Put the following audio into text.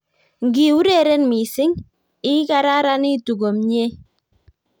Ngiureren missing, igararanitu komnyei